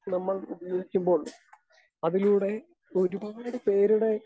speaker 2 നമ്മൾ ഉപയോഗിക്കുമ്പോൾ അതിലൂടെ ഒരുപാട് പേരുടെ